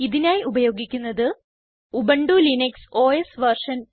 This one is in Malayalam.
ഇതിനായി ഉപയോഗിക്കുന്നത് ഉബുന്റു ലിനക്സ് ഓസ് വെർഷൻ